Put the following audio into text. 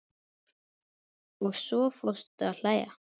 Og svo fórstu að hlæja.